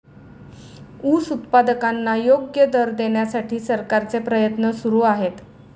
ऊस उत्पादकांना योग्य दर देण्यासाठी सरकारचे प्रयत्न सुरु आहेत.